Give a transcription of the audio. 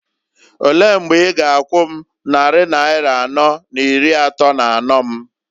Olee mgbe i g'akwu m nnarị naịra anọọ n'iri atọọ n'anọọ m?